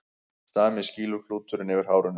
Sami skýluklúturinn yfir hárinu.